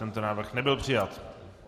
Tento návrh nebyl přijat.